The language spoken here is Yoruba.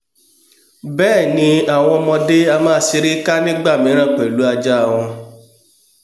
bẹ́ẹ̀ni àwọn ọmọdé a máa ṣeré ká nígbàmíràn pẹlú ajá a wọn